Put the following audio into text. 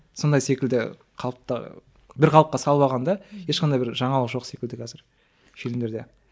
сондай секілді қалыпта бір қалыпта салып алған да ешқандай бір жаңалық жоқ секілді қазір фильмдерде